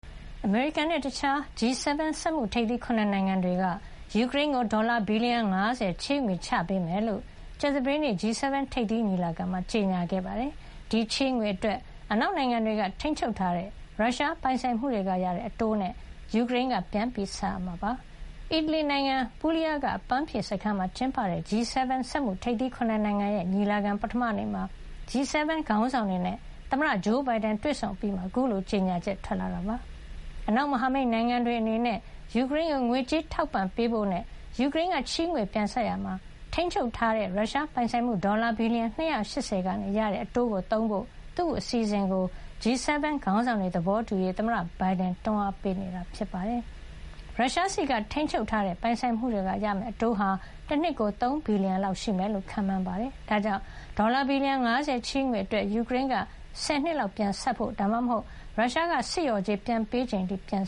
အမေရိကန်နဲ့ တခြား G7 စက်မှုထိပ်သီး ၇ နိုင်ငံက ယူကရိန်းကို ဒေါ်လာ ဘီလီယံ ၅၀ ချေးငွေချပေးမှာဖြစ်ကြောင်း ကြာသပတေးနေ့ G7 ထိပ်သီးညီလာခံမှာ ကြေညာခဲ့ပြီး ဒီချေးငွေအတွက် အနောက်နိုင်ငံတွေက ထိန်းချုပ်ထားတဲ့ ရုရှားပိုင်ဆိုင်မှုတွေကရတဲ့အတိုးငွေနဲ့ ယူကရိန်းက ပြန်ဆပ်ရမှာ ဖြစ်ပါတယ်။ အီတလီနိုင်ငံ Puglia က အပမ်းဖြေစခန်း - Borgo Egnazia မှာ ကျင်းပတဲ့ G7 စက်မှုထိပ်သီး ၇ နိုင်ငံရဲ့ညီလာခံ ပထမနေ့မှာ G7 ခေါင်းဆောင်တွေနဲ့ သမ္မတဂျိုးဘိုင်ဒန်တွေ့ဆုံအပြီးမှာ အခုလို ကြေညာချက် ထွက်လာတာ ဖြစ်ပါတယ်။ အနောက်မဟာမိတ်နိုင်ငံတွေအနေနဲ့ ယူကရိန်းကို ငွေကြေးထောက်ပံ့ပေးဖို့နဲ့ ယူကရိန်းက ချေးငွေပြန်ဆပ်ရာမှာ ထိန်းချုပ်ထားတဲ့ ရုရှားပိုင်ဆိုင်မှု ဒေါ်လာ ဘီလီယံ ၂၈၀ က ရတဲ့ အတိုးငွေကို သုံးဖို့ သူ့အစီစဉ်ကို G7 ခေါင်းဆောင်တွေ သဘောတူရေး သမ္မတဘိုင်ဒန်က တွန်းအားပေးနေတာ ဖြစ်ပါတယ်။ ရုရှားဆီကထိန်းချုပ်ထားတဲ့ ပိုင်ဆိုင်မှုတွေကရမယ့်အတိုးဟာ တနှစ်ကို ၃ ဘီလီယံလောက် ရှိမယ်လို့ ခန့်မှန်းထားတာပါ။ ဒါကြောင့် ဒေါ်လာ ဘီလီယံ ၅၀ ချေးငွေအတွက် ယူကရိန်းက ၁၀ နှစ် လောက်ပြန်ဆပ်ဖို့၊ ဒါမှမဟုတ် ရုရှားက စစ်လျှော်ကြေးပြန်ပေးချိန်အထိ ပြန်